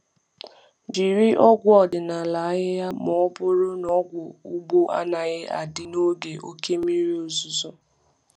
Jiri ọgwụ ọdịnala ahịhịa ma ọ bụrụ na ọgwụ ugbo anaghị adị n’oge oke mmiri ozuzo.